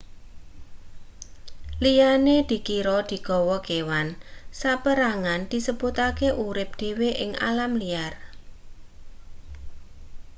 liyane dikira digawa kewan saperangan disebutake urip dhewe ing alam liar